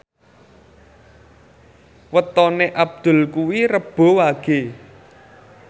wetone Abdul kuwi Rebo Wage